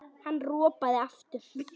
Hann ropaði aftur.